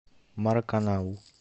мараканау